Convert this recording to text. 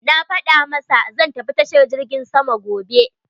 Na faɗa masa zan tafi tashar jirgin sama gobe.